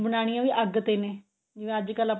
ਬਨਾਣੀਆਂ ਵੀ ਅੱਗ ਤੇ ਨੇ ਜਿਵੇਂ ਅੱਜਕਲ ਆਪਣੇ